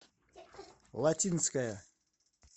латинская